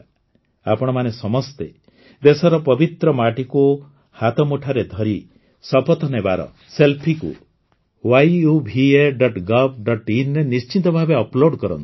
ଆପଣମାନେ ସମସ୍ତେ ଦେଶର ପବିତ୍ର ମାଟିକୁ ହାତମୁଠାରେ ଧରି ଶପଥ ନେବାର ସେଲଫିକୁ yuvagovinରେ ନିଶ୍ଚିତ ଭାବେ ଅପଲୋଡ କରନ୍ତୁ